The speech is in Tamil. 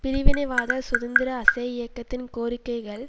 பிரிவினைவாத சுதந்திர அசே இயக்கத்தின் கோரிக்கைகள்